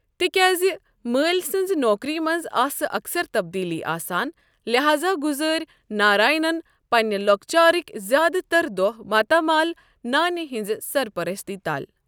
تہِ کیازِ مٲلۍ سٕنزِ نوکری منٛز آسہٕ اکثر تبدیلی آسان ،لحاذا گُزٲرۍ ناراینن پننہِ لوٚکچارٕکۍ زیادٕتر دوہ ماتامال نانہِ ہٕنٛزِ سر پستی تل ۔